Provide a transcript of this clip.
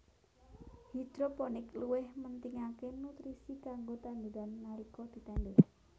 Hidroponik luwih mentingaké nutrisi kanggo tanduran nalika ditandur